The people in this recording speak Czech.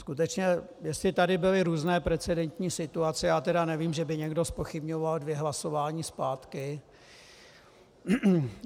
Skutečně, jestli tady byly různé precedentní situace, já tedy nevím, že by někdo zpochybňoval dvě hlasování zpátky.